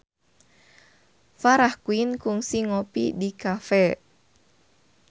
Farah Quinn kungsi ngopi di cafe